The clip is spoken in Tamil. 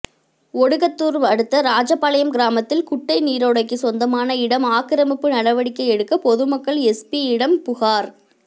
ஒடுகத்தூர் அடுத்த ஓராஜாபாளையம் கிராமத்தில் குட்டை நீரோடைக்கு சொந்தமான இடம் ஆக்கிரமிப்பு நடவடிக்கை எடுக்க பொதுமக்கள் எஸ்பியிடம் புகார்